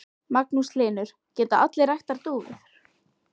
Magnús Hlynur: Geta allir ræktað dúfur?